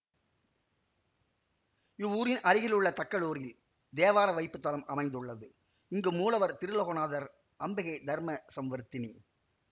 இவ்வூரின் அருகிலுள்ள தக்களூரில் தேவார வைப்பு தலம் அமைந்துள்ளது இங்கு மூலவர் திருலோகநாதர் அம்பிகை தர்ம சம்வர்த்தினி